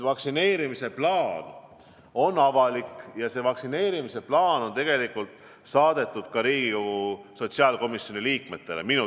Vaktsineerimise plaan on avalik ja see plaan on minu teada saadetud ka Riigikogu sotsiaalkomisjoni liikmetele.